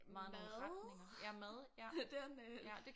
Mad. Den øh